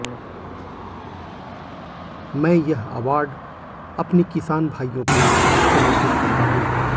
मैं यह अवॉर्ड अपने किसान भाइयों को समर्पित करता हूं